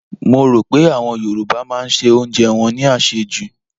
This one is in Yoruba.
Mo rò pé àwọn Yorùbá máa se oúnjẹ wọn ní àsèjù.